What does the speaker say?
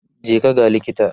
je ka ga likita!